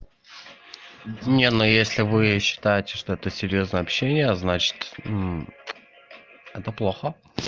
не ну если вы считаете что то серьёзное общение значит это плохо